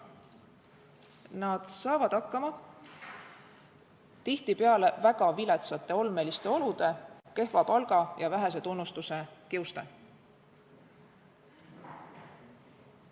Nad saavad hakkama tihtipeale väga viletsate olude, kehva palga ja vähese tunnustuse kiuste.